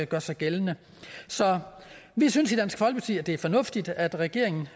gør sig gældende så vi synes i dansk folkeparti at det er fornuftigt at regeringen